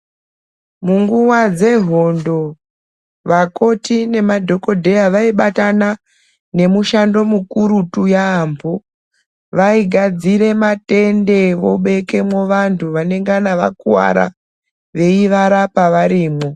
Munguwa dzehondo vakoti nemadhokodheya vaibatana nemushando mukurutu yaambo. Vaigadzire matende vobekemwo vantu vanengana vakuwara veivarapa varimwo.